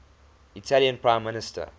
italian prime minister